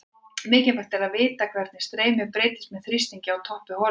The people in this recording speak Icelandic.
Mikilvægt er að vita hvernig streymið breytist með þrýstingi á toppi holunnar.